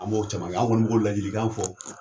An m'o caman kɛ an kɔni mi k'o ladilikan fɔ